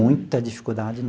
Muita dificuldade.